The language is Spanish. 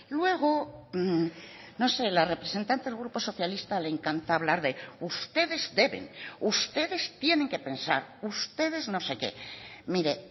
luego no sé la representante del grupo socialista le encanta hablar de ustedes deben ustedes tienen que pensar ustedes no sé qué mire